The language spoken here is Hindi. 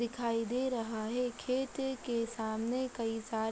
दिखाई दे रहा है खेते के सामने कई सारे --